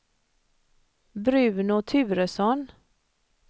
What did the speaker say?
Bruno Turesson